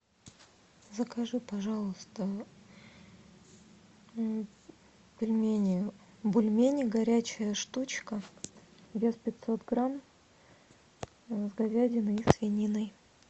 закажи пожалуйста пельмени бульмени горячая штучка вес пятьсот грамм с говядиной и свининой